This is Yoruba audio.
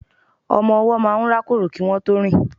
ọmọ ọwọ́ máà ń rákòrò kí wọn tó rìn